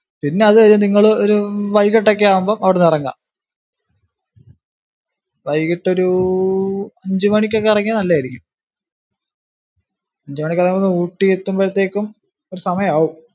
പിന്നതു കഴിഞ്ഞു നിങ്ങള് ഒരു വൈകിട്ടൊക്കെ ആകുമ്പോ അവിടുന്ന് ഇറങ്ങുക. വൈകിട്ടൊരു അഞ്ചു മണിക്കൊക്കെ ഇറങ്ങിയ നല്ലയായിരിക്കും. അഞ്ചു മണിക്കിറങ്ങിയാ ഊട്ടി എത്തുമ്പോഴേത്തേക്കും ഒരു സമയമാവും.